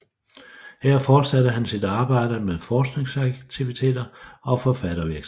Her fortsatte han sit arbejde med forskningsaktiviteter og forfattervirksomhed